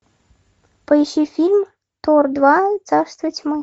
поищи фильм тор два царство тьмы